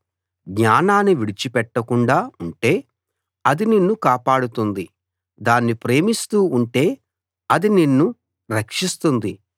జ్ఞానాన్ని విడిచిపెట్టకుండా ఉంటే అది నిన్ను కాపాడుతుంది దాన్ని ప్రేమిస్తూ ఉంటే అది నిన్ను రక్షిస్తుంది